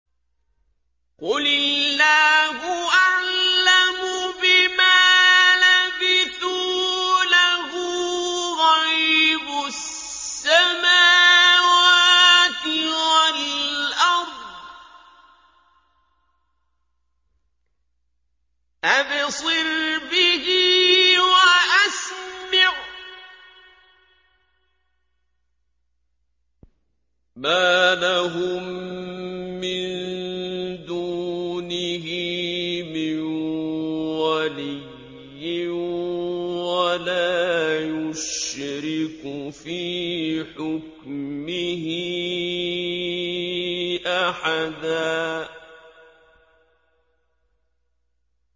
قُلِ اللَّهُ أَعْلَمُ بِمَا لَبِثُوا ۖ لَهُ غَيْبُ السَّمَاوَاتِ وَالْأَرْضِ ۖ أَبْصِرْ بِهِ وَأَسْمِعْ ۚ مَا لَهُم مِّن دُونِهِ مِن وَلِيٍّ وَلَا يُشْرِكُ فِي حُكْمِهِ أَحَدًا